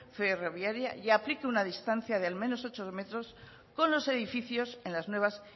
ferroviaria y aplique una distancia de al menos ocho metros con los edificios en las nuevas